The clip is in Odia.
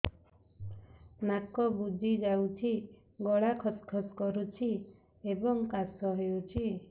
ନାକ ବୁଜି ଯାଉଛି ଗଳା ଖସ ଖସ କରୁଛି ଏବଂ କାଶ ହେଉଛି